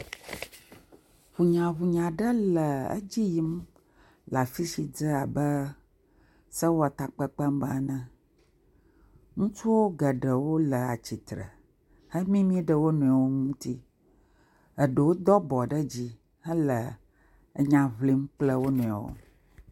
Hunyahunya aɖe le edzi yim le afi si dze abe sewɔtakpekpe me ene, ŋutsuwo geɖewo le atsitre hemimi ɖe wo nɔewo ŋtsi, eɖewo do abɔ ɖe dzi hele enya ʋlim kple wo nɔewo.